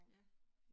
Ja